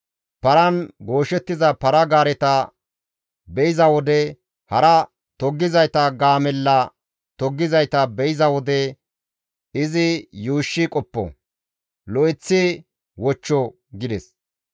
Paran gooshettiza para-gaareta be7iza wode hare toggizayta gaamella toggizayta be7iza wode izi yuushshi qoppo; lo7eththi wochcho» gides.